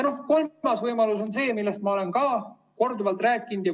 Kolmas võimalus on see, millest ma olen ka korduvalt rääkinud.